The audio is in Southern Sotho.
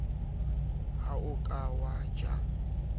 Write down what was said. ha o ka wa ja